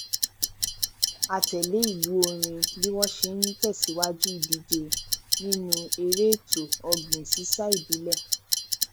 a tẹlé ìlù orin bí wọn ṣe n tẹsìwájú ìdíje nínú eré ètò ọgbìn sísá ìbílẹ